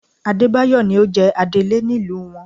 Adébáyọ̀ ni ó jẹ adélé nílùú wọn